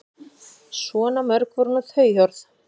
Svo mörg voru nú þau orð.